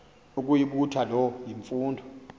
ukuyibutha loo mfundo